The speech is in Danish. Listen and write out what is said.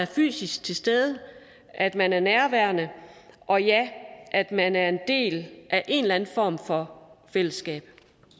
fysisk til stede at man er nærværende og ja at man er en del af en eller anden form for fællesskab